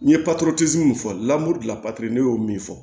N ye min fɔ ne y'o min fɔ